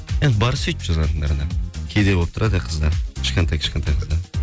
бар сөйтіп жазатындары да кейде болып тұрады қыздар кішкентай кішкентай